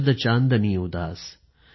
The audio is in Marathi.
शरद चाँदनी उदास